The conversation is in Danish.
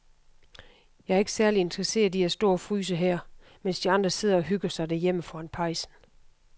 Jeg er ikke særlig interesseret i at stå og fryse her, mens de andre sidder og hygger sig derhjemme foran pejsen.